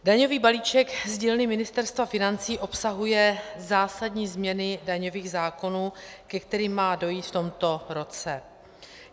Daňový balíček z dílny Ministerstva financí obsahuje zásadní změny daňových zákonů, ke kterým má dojít v tomto roce.